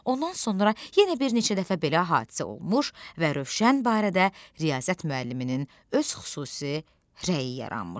Ondan sonra yenə bir neçə dəfə belə hadisə olmuş və Rövşən barədə riyaziyyat müəlliminin öz xüsusi rəyi yaranmışdı.